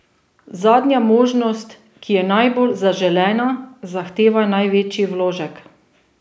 Zadnja možnost, ki je najbolj zaželena, zahteva največji vložek.